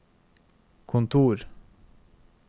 kontor